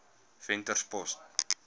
venterspost